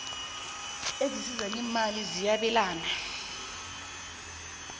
ezisiza ngeemali ziyabelana